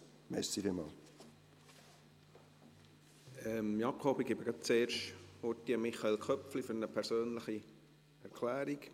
Jakob Schwarz, ich gebe gerade zuerst kurz das Wort Michael Köpfli für eine persönliche Erklärung.